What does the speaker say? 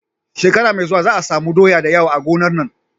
Shekara me zuwa za a samu doya dayawa a gonar nan